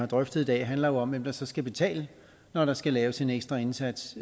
drøfter i dag handler jo om hvem der så skal betale når der skal laves en ekstra indsats